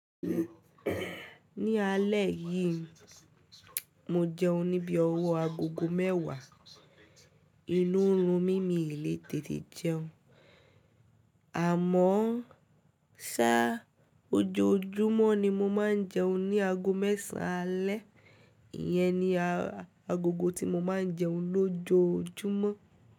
Ní alẹ́ yìí, mo jẹun ní bii ọwọ́ agogo mẹ́wàá. Inú n rún mí, mii lè tètè jẹun. Àmọ́ ṣá ojoojúmọ́ ni mo máa ń jẹun ní aago mẹ́sàn-an alẹ́. Iyẹn ni agogo tí mo máa ń jẹun lójoojúmọ́.